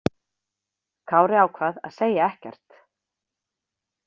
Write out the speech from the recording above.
Kári ákvað að segja ekkert.